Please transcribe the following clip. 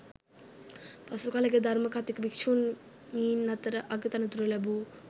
පසුකලෙක ධර්ම කථික භික්ෂුණීන් අතර අගතනතුර ලැබූ